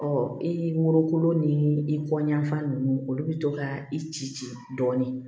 Ɔ i morokolo ni i kɔɲafan ninnu olu bɛ to ka i ci ci dɔɔnin